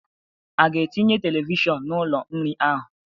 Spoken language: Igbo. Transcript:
A ga-etinye televishọn n'ụlọ nri ahụ.